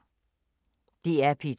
DR P2